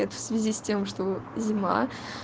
в связи с тем что зима